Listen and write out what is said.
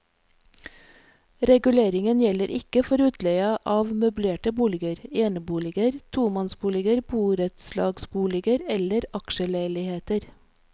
Reguleringen gjelder ikke for utleie av møblerte boliger, eneboliger, tomannsboliger, borettslagsboliger eller aksjeleiligheter.